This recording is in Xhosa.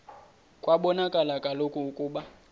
kwabonakala kaloku ukuba